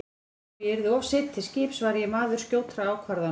Þótt ég yrði of seinn til skips var ég maður skjótra ákvarðana.